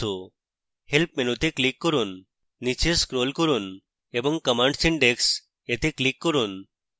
help menu তে click করুন স্নীচে ক্রোল করুন এবং commands index এ click করুন